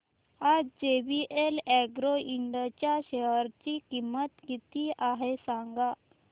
आज JVL Agro Ind च्या share ची किंमत किती आहे सांगा